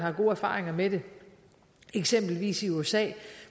er gode erfaringer med det eksempelvis i usa